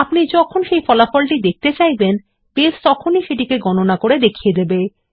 আপনি যখনি ফলাফল দেখতে চাইবেন বেস তেখনি সেটাকে গণনা করা দেখিয়ে দেবে